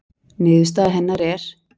Niðurstaða hennar er: